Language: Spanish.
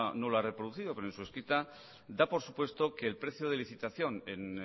no la ha reproducido pero en su escrito da por supuesto que el precio de licitación en